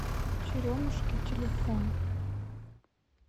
черемушки телефон